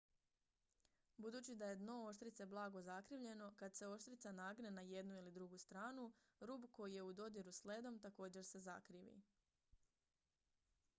budući da je dno oštrice blago zakrivljeno kad se oštrica nagne na jednu ili drugu stranu rub koji je u dodiru s ledom također se zakrivi